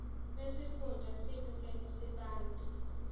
wesifunda sasegert sibande